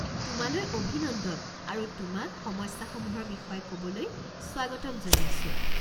তোমালৈ অভিনন্দন আৰু তোমাক সমস্যাসমূহৰ বিষয়ে ক'বলৈ স্বাগতম জনাইছোঁ।